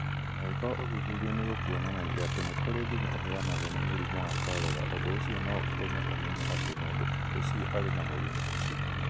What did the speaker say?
Angĩkorũo ũthuthuria nĩ ũkuonanagia atĩ nĩ kũrĩ thumu ũrehagwo nĩ mũrimũ wa kolera, ũndũ ũcio no ũtũme ũmenye atĩ mũndũ ũcio arĩ na mũrimũ ũcio.